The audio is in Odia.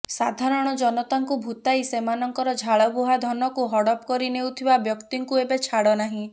ସାଧାରଣ ଜନତାଙ୍କୁ ଭୁତାଇ ସେମାନଙ୍କର ଝାଳ ବୁହା ଧନକୁ ହଡପ କରିନେଉଥିବା ବ୍ୟକ୍ତିଙ୍କୁ ଏବେ ଛାଡ ନାହିଁ